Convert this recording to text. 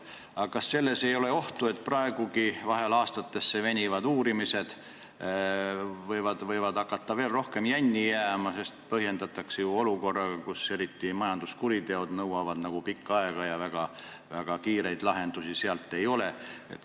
Aga kas ei ole ohtu, et praegugi vahel aastatesse venivate uurimistega võidakse hakata veel rohkem jänni jääma, sest venimist põhjendatakse ju sellega, et eriti majanduskuriteod nõuavad pikka aega ja väga kiireid lahendusi ei ole?